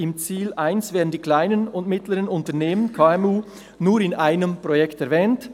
«In Ziel 1 … werden die kleinen und mittleren Unternehmen (KMU) nur in einem Projekt erwähnt.